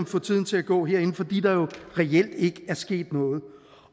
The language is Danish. få tiden til at gå herinde fordi der reelt ikke er sket noget